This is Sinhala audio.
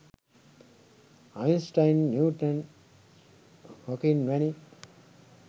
අයින්ස්ටයින් නිව්ටන් හොකින් වැනි